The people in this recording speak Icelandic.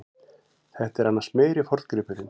Þetta er annars meiri forngripurinn.